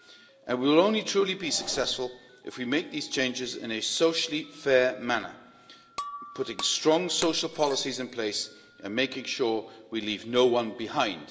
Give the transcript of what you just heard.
But we will only truly be successful if we make these changes in a socially fair manner, putting strong social policies in place and making sure we leave no one behind.